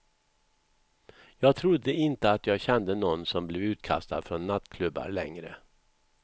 Jag trodde inte att jag kände nån som blev utkastad från nattklubbar längre.